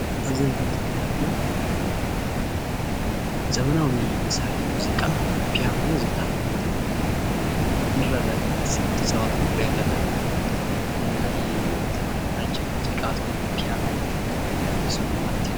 ኣብ እዚ እንሪኦ ዘለና ድማ ዘመናዊ መሳርሒ ሙዚቃ ፒየኖ ዝባሃል ማለት እዩ ንርኢ ኣለና ሰብ እንትፃወት እውን ንርኢ ኣለና፡፡ ናይ ዘመናዊ መዐጀቢ ሙዚቃ ዝኮነ ፒያኖ ዝበሃል ፍሉይ ስሙ ማለት እዩ፡፡